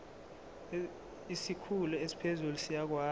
isikhulu esiphezulu siyakwazi